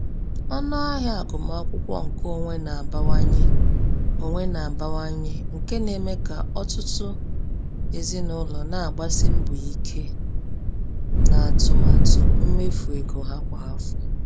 Ọnụ ahịa agụmakwụkwọ nke onwe na-abawanye, onwe na-abawanye, nke na-eme ka ọtụtụ ezinụlọ na-agbasi mbọ ike n’atụmatụ mmefu ego ha kwa afọ.